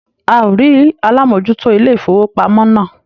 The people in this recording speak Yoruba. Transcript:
A ò rí alámòójútó ilé-ìfowópamọ́ náà.